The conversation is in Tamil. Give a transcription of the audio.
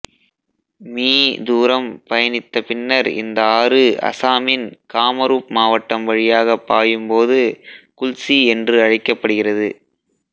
மீ தூரம் பயணித்த பின்னர் இந்த ஆறு அசாமின் காமரூப் மாவட்டம் வழியாகப் பாயும் போது குல்சி என்று அழைக்கப்படுகிறது